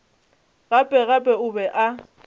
gape gape o be a